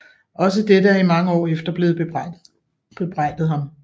Også dette er i mange år efter blevet bebrejdet ham